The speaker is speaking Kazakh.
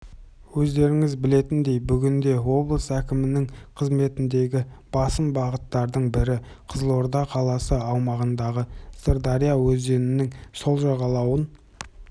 өздеріңіз білетіндей бүгінде облыс әкімдігінің қызметіндегі басым бағыттардың бірі қызылорда қаласы аумағындағы сырдария өзенінің сол жағалауын